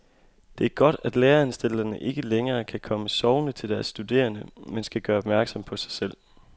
Det er godt, at læreanstalterne ikke længere kan komme sovende til deres studerende, men skal gøre opmærksom på sig selv.